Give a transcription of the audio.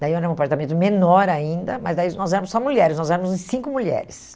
Daí era um apartamento menor ainda, mas daí nós éramos só mulheres, nós éramos em cinco mulheres.